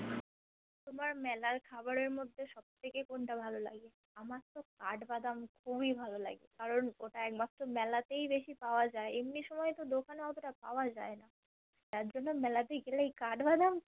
তোমার মেলার খাবারের মধ্যে সবথেকে কোনটা ভালো লাগে আমারতো কাঠবাদাম খুবই ভালো লাগে কারণ ওটা একমাত্র মেলাতেই বেশি পাওয়া যায় এমনি সময়তো দোকানএ অতটা পাওয়া যায়না জারজন্য মেলাতে গেলেই কাঠবাদাম